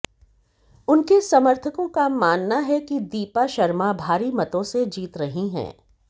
उनके समर्थकों का मानना है कि दीपा शर्मा भारी मतों से जीत रही हैं